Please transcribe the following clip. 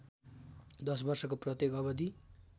दश वर्षको प्रत्येक अवधि